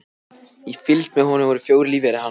Í fylgd með honum voru lífverðir hans fjórir.